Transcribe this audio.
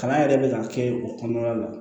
Kalan yɛrɛ bɛ ka kɛ o kɔnɔna la